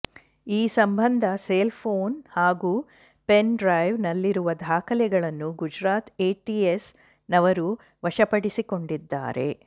ಈ ಸಂಬಂಧ cell phone ಹಾಗೂ ಪೆನ್ ಡ್ರೈವ್ ನಲ್ಲಿರುವ ದಾಖಲೆಗಳನ್ನು ಗುಜರಾತ್ ಎಟಿಎಸ್ ನವರು ವಶಪಡಿಸಿಕೊಂಡಿದ್ದಾರೆ